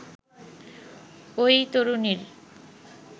ওই তরুণীর